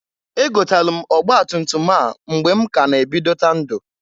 E gotalu m ọgbatumtum a mgbe m k'a na ebidota ndu.